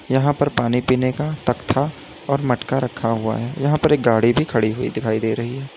यहां पर पानी पीने का तख्ता और मटका रखा हुआ है यहां पर एक गाड़ी भी खड़ी हुई दिखाई दे रही है।